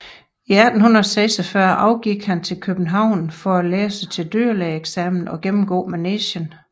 I 1846 afgik han til København for at læse til dyrlægeeksamen og gennemgå Manegen